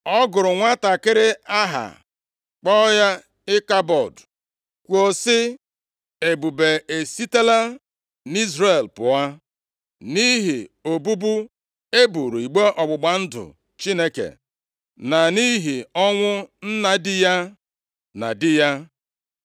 Ọ gụrụ nwantakịrị aha, kpọọ ya Ịkabọdụ, kwuo sị, “Ebube esitela nʼIzrel pụọ,” nʼihi obubu e buuru igbe ọgbụgba ndụ Chineke, na nʼihi ọnwụ nna di ya na di ya.